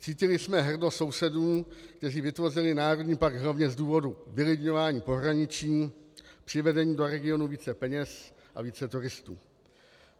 Cítili jsme hrdost sousedů, kteří vytvořili národní park hlavně z důvodu vylidňování pohraničí, přivedení do regionu více peněz a více turistů.